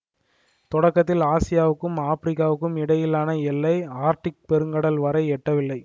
தொடக்கத்தில் ஆசியாவுக்கும் ஆப்பிரிக்காவுக்கும் இடையிலான எல்லை ஆர்க்டிக் பெருங்கடல் வரை எட்டவில்லை